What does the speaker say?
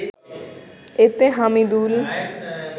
এতে হামিদুল